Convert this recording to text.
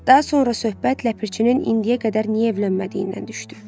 Daha sonra söhbət ləpirçinin indiyə qədər niyə evlənmədiyindən düşdü.